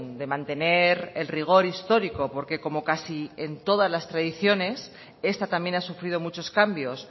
de mantener el rigor histórico porque como casi en todas las tradiciones esta también ha sufrido muchos cambios